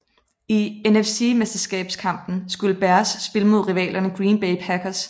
I NFC mesterskabskampen skulle Bears spille mod rivalerne Green Bay Packers